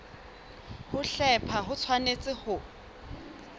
ho hlepha ho tshwanetse ho